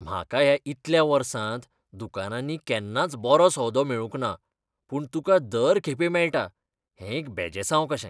म्हाका ह्या इतल्या वर्सांत दुकानांनी केन्नाच बरो सौदो मेळूंक ना पूण तुका दर खेपे मेळटा, हें एक बेजासांव कशें!